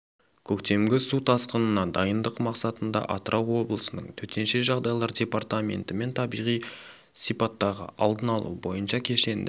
көктемгі су тасқынына дайындық мақсатында атырау облысының төтенше жағдайлар департаментімен табиғи сипаттағы алдын алу бойынша кешенді